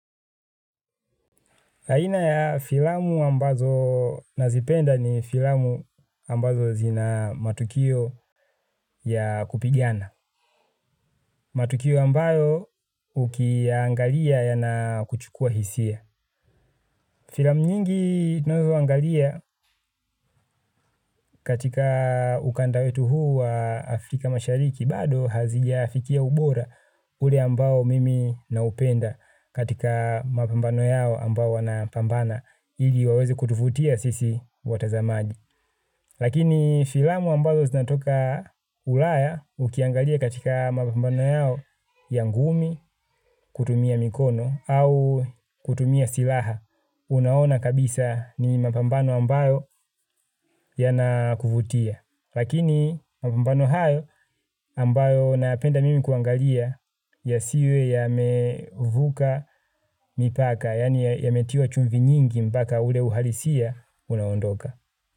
Aina ya filamu ambazo nazipenda ni filamu ambazo zina matukio ya kupigana. Matukio ambayo ukiyaangalia yanakuchukua hisia. Filamu nyingi ninazoangalia katika ukanda wetu huu wa Afrika mashariki. Bado hazijafikia ubora ule ambao mimi naupenda katika mapambano yao ambao wanapambana. Ili waweze kutuvutia sisi watazamaji. Lakini filamu ambazo zinatoka ulaya ukiangalia katika mapambano yao ya ngumi kutumia mikono au kutumia silaha. Unaona kabisa ni mapambano ambayo yanakuvutia. Lakini mapambano hayo ambayo nayapenda mimi kuangalia yasiwe yamevuka mipaka yaani yametiwa chumvi nyingi mpaka ule uhalisia unaondoka.